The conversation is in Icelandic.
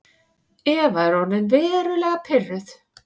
Eva er orðin verulega pirruð.